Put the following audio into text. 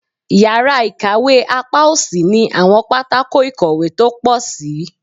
Yara ikawe apa osi ni awọn patako ikowe to po sii